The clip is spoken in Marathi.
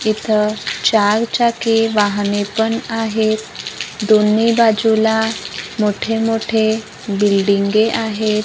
इथं चार चाकी वाहने पण आहेत दोन्ही बाजूला मोठे मोठे बिल्डिंगे आहेत.